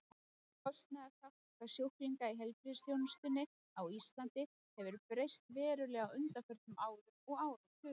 Kostnaðarþátttaka sjúklinga í heilbrigðisþjónustunni á Íslandi hefur breyst verulega á undanförnum árum og áratugum.